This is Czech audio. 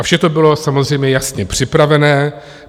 A vše to bylo samozřejmě jasně připravené.